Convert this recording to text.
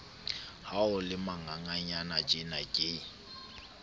ha o le manganganyanatjena ke